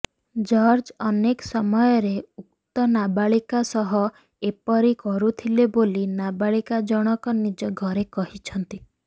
George ଅନେକ ସମୟରେ ଉକ୍ତ ନାବାଳିକା ସହ ଏପରି କରୁଥିଲେ ବୋଲି ନାବାଳିକା ଜଣକ ନିଜ ଘରେ କହିଛନ୍ତି